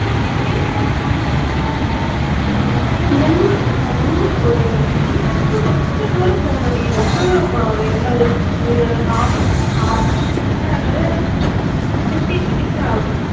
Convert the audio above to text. என்னடி ஆமாடி ஊரு நம்ம ஊரு ஒரு main ல இருந்து கொஞ்ச தூரம் போகணும்டி. எவ்வளவு ஒரு half half half an hour ஆகாது ஒரு fifteen minutes ஆகும்